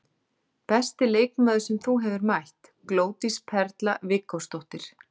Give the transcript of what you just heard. Besti leikmaður sem þú hefur mætt: Glódís Perla Viggósdóttir.